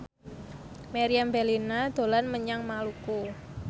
Meriam Bellina dolan menyang Maluku